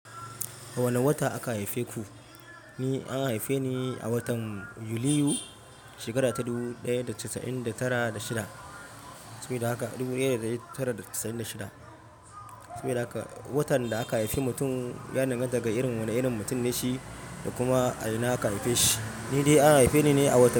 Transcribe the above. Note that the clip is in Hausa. A wane wata aka haife ku? Ni an haife ni a watan Yuliyu shekara ta dubu ɗaya da casa'in da tara da shida. Sabida haka watan da aka haifi mutum ya danganta ga irin wane irin mutum ne shi da kuma a ina aka haife shi. Ni dai an haife ni ne a watan.